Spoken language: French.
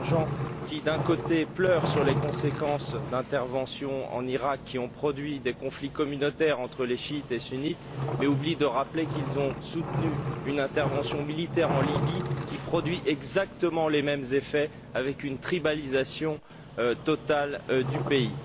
Danjean qui, d'un côté, pleurent sur les conséquences des interventions en Iraq qui ont généré des conflits communautaires entre chiites et sunnites, mais oublient de rappeler qu'ils ont soutenu une intervention militaire en Libye qui produit exactement les mêmes effets, avec une tribalisation complète du pays.